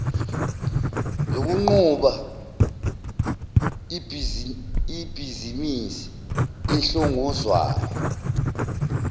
zokunquba ibhizimisi ehlongozwayo